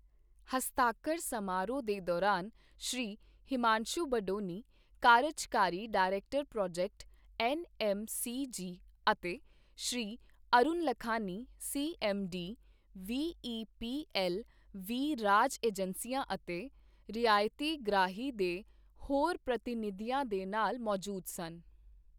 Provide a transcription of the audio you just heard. ਹਸਤਾਖਰ ਸਮਾਰੋਹ ਦੇ ਦੌਰਾਨ ਸ਼੍ਰੀ ਹਿਮਾਂਸ਼ੂ ਬਡੋਨੀ, ਕਾਰਜਕਾਰੀ director project, N M C G ਅਤੇ Shri Arun Lakhani, C M D, V E P L V ਰਾਜ ਏਜੰਸੀਆਂ ਅਤੇ ਰਿਆਇਤਗ੍ਰਾਹੀ ਦੇ ਹੋਰ ਪ੍ਰਤੀਨਿਧੀਆਂ ਦੇ ਨਾਲ ਮੌਜੂਦ ਸਨ।